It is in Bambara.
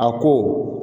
A ko